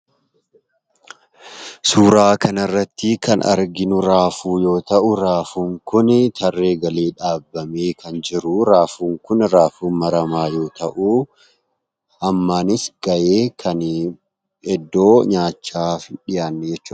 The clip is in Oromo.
Suuraa kana irratti kan arginuu Raafuu yoo ta'u Raafuun kuni tarree galee dhaabamee kan jiru Raafuun kun Raafuu maramaa yoo ta'u hammaanis gahee kuni iddoo nyaachaaf hin dhiyaannee jechuudha.